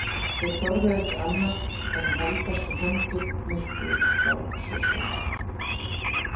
Þeir þorðu ekki annað en haldast í hendur, myrkrið var svo svart.